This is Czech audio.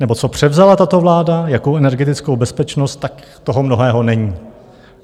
nebo co převzala tato vláda, jakou energetickou bezpečnost, tak toho mnoho není.